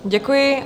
Děkuji.